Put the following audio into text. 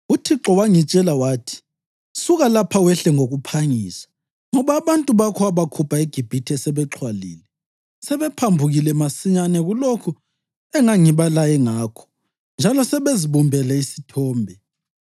UThixo wangitshela wathi, ‘Suka lapha wehle ngokuphangisa, ngoba abantu bakho owabakhupha eGibhithe sebexhwalile. Sebephambukile masinyane kulokho engangibalaye ngakho njalo sebezibumbele isithombe.’